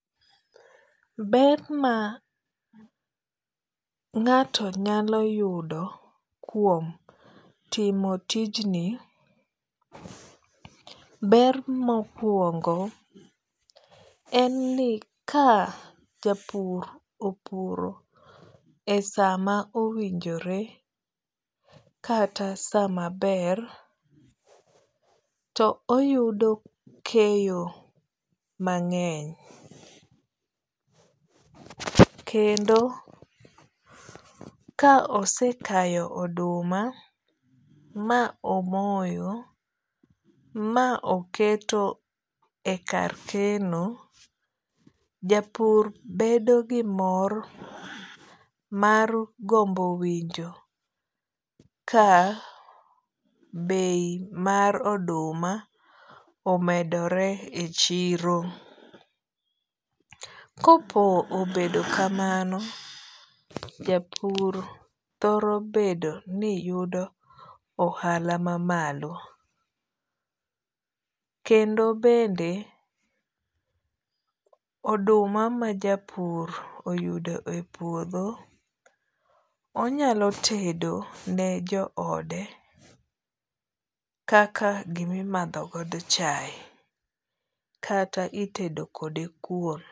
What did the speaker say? Ber ma ng'ato nyalo yudo kuom timo tijni ber mokuongo en ni ka japur opuro e sama owinjore kata sa maber to oyudo keyo mang'eny. Kendo ka ose kayo oduma ma omoyo ma oketo e kar keno, japur bedo gi mor mar gombo winjo ka bei mar oduma omedore e chiro. Kopo obedo kamano, japur thoro bedo ni yudo ohala ma malo. Kendo bende oduma ma japur oyudo e puodho onyalo tedo ne jo ode kaka gimimadho godo chae kata itedo kode kuon.